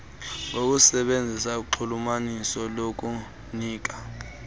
ngokusebenzisa unxulumaniso lokunika